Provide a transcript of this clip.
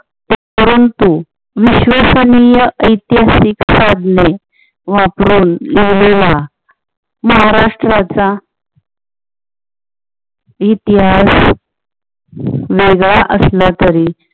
परंतु विश्वसनीय ऐतिहासिक साधने वापरून लिहिलेला महाराष्ट्राचा इतिहास वेगळा असला तरी